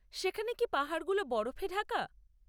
সেখানে কি পাহাড়গুলো বরফে ঢাকা?